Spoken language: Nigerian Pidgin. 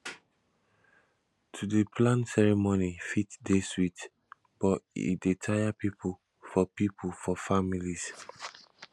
to dey plan ceremony fit dey sweet but e taya pipo for pipo for families